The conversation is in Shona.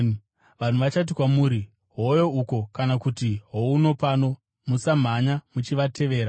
Vanhu vachati kwamuri, ‘Hoyo uko!’ kana kuti ‘Houno pano!’ Musamhanya muchivatevera.